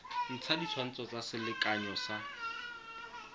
ntsha ditshwantsho tsa selekanyo sa